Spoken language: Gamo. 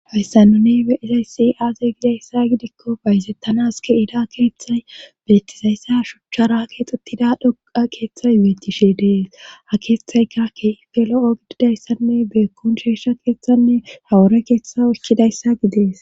Hayssanuni be izaysi aaze gidayssa gidikko bayzettanas ke ida keeththay beetizayssa shuchcharaa keexxettida dhoqa keeththay yeetishe dees ha keeththayka ke felo7o gididayssanne beekkon sheesha keethanne hawore keeththa ikkidayssa gidees